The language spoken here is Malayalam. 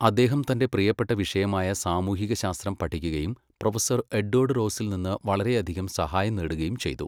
അദ്ദേഹം തന്റെ പ്രിയപ്പെട്ട വിഷയമായ സാമൂഹികശാസ്ത്രം പഠിക്കുകയും പ്രൊഫസർ എഡ്വേർഡ് റോസിൽ നിന്ന് വളരെയധികം സഹായം നേടുകയും ചെയ്തു.